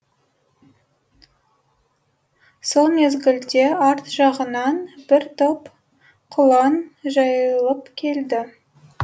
сол мезгілде арт жағынан бір топ құлан жайылып келді